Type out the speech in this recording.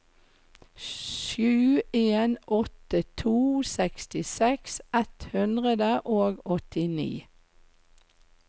sju en åtte to sekstiseks ett hundre og åttini